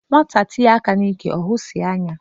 Nwata tinye aka n'ike ohusie anya.